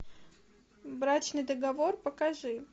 брачный договор покажи